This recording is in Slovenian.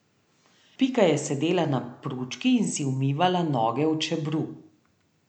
Pika je sedela na pručki in si umivala noge v čebru.